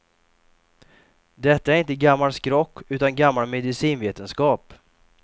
Detta är inte gammal skrock, utan gammal medicinvetenskap.